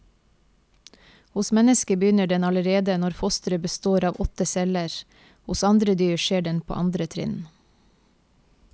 Hos mennesket begynner den allerede når fosteret består av åtte celler, hos andre dyr skjer den på andre trinn.